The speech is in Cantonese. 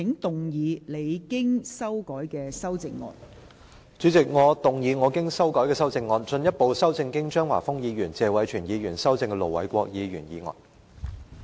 代理主席，我動議我經修改的修正案，進一步修正經張華峰議員及謝偉銓議員修正的盧偉國議員議案。